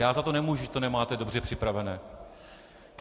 Já za to nemůžu, že to nemáte dobře připravené.